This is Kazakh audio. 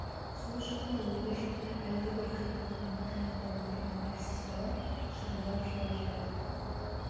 сол шақта ойда-жоқта әлгібір кірпігі ғана қимылдап отырған әлсіз бала шырылдап жылап жіберді